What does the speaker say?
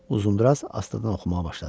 Uzundraz astadan oxumağa başladı.